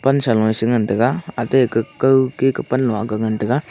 sa lunge se ngan tega atey keh kau ke pan lung aga ngan tega.